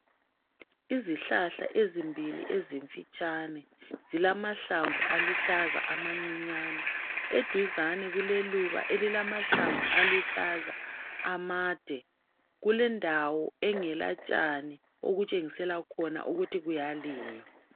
Izihlahla ezimbili ezimfitshane, zilahlamvu uluhlaza amancinyane. Uduzane kuleluba elilamahlamvu aluhlaza amade. Kulendawo engela tshane okutshengisela khona ukuthi kuyalinywa.